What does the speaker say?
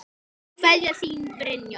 Kveðja, þín Brynja.